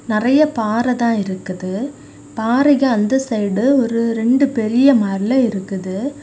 நெறைய பாறதா இருக்குது பாறைக்கு அந்த சைடு ஒரு ரெண்டு பெரிய மலை இருக்குது.